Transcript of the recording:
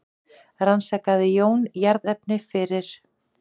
Rannsakaði Jón jarðefni fyrir